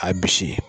A bisi